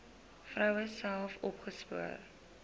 vroue self opgespoor